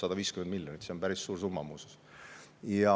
Ja 152 miljonit on muuseas päris suur summa.